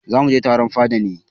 Za mu mu je taron fada ne.